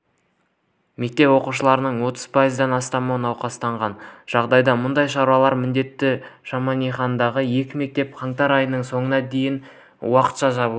мектеп оқушыларының отыз пайыздан астамы науқастанған жағдайда мұндай шаралар міндетті шемонаихадағы екі мектеп қаңтар айының соңына дейін уақытша жабылады